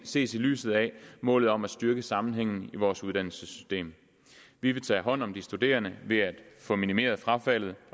ses i lyset af målet om at styrke sammenhængen i vores uddannelsessystem vi vil tage hånd om de studerende ved at få minimeret frafaldet